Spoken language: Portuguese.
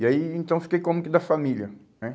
E aí, en então, eu fiquei como que da família, né